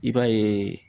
I b'a ye